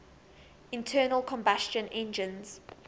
internal combustion engines